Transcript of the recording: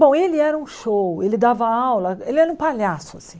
Bom, ele era um show, ele dava aula, ele era um palhaço assim.